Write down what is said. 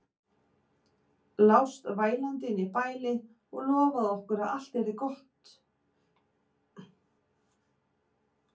Lást vælandi inni í bæli og lofaðir okkur að allt yrði aftur gott.